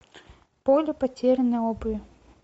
поле потерянной обуви